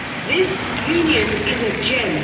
This union is a gem.